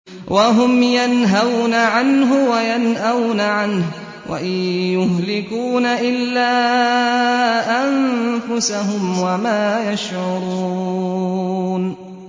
وَهُمْ يَنْهَوْنَ عَنْهُ وَيَنْأَوْنَ عَنْهُ ۖ وَإِن يُهْلِكُونَ إِلَّا أَنفُسَهُمْ وَمَا يَشْعُرُونَ